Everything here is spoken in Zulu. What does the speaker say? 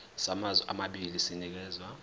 samazwe amabili sinikezwa